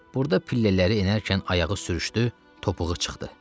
Burada pillələri enərkən ayağı sürüşdü, topuğu çıxdı.